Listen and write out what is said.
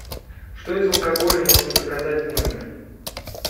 что из алкоголя можно заказать в номер